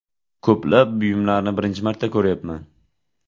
Ko‘plab buyumlarni birinchi marta ko‘ryapman.